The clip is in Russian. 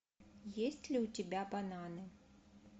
есть ли у тебя бананы